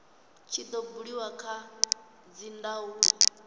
tshi do buliwa kha dzindaulo